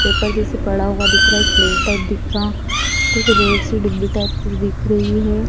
Paper जैसे पड़ा हुआ दिख रहा है एक प्लेट टाइप दिख रहा कुछ रेड से डिब्बी टाइप कुछ दिख रही है।